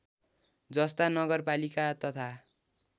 जस्ता नगरपालिका तथा